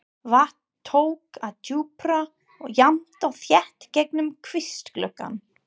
Vatn tók að drjúpa jafnt og þétt gegnum kvistgluggann.